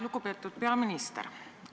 Lugupeetud peaminister!